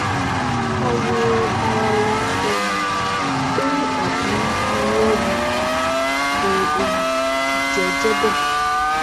a wo arawa um pé àbí irọ ni kò um jẹ jẹ bẹẹ